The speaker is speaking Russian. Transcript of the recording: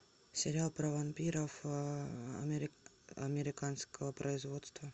сериал про вампиров американского производства